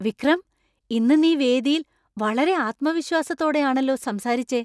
വിക്രം! ഇന്ന് നീ വേദിയിൽ വളരെ ആത്മവിശ്വാസത്തോടെയാണല്ലോ സംസാരിച്ചെ!